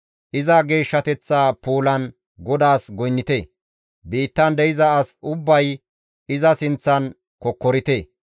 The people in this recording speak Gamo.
Iza geeshshateththa puulan GODAAS goynnite; biittan de7iza as ubbay iza sinththan kokkorite.